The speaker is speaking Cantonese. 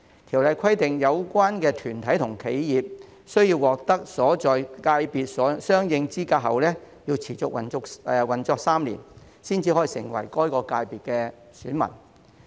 《條例草案》規定，有關團體和企業須獲得其所在界別相應資格後持續運作3年以上，方可成為該界別選民。